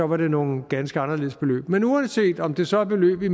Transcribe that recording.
var det nogle ganske anderledes beløb men uanset om det så er beløb i